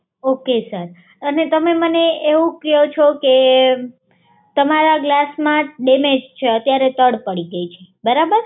Ok sir અને તમે મને એવું ક્યો છો કે તમારા ગ્લાસમાં ડેમેજ છે અત્યારે તડ પડી જાય છે બરોબર